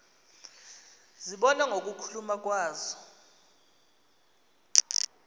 zibonwa ngokuluma kwazo